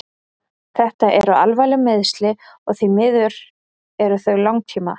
Þetta eru alvarleg meiðsli og því miður eru þau langtíma.